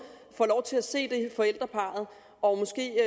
får lov til at se forældreparret og måske